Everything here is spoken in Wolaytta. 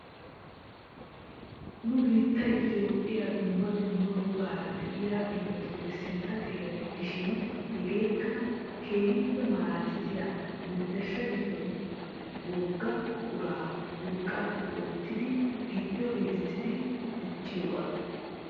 Nu biittiyaa itoophphiyaa dumma dumma wogaara de'iyaa biittatupe sintta xeera giidishin hageekka keehippe malaalisiyaa menttershshaa giddon woga buquraa urqqaappe oottidi giiddo geelisidi dichchiyoogaa.